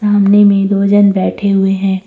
सामने में दो जन बैठे हुए हैं।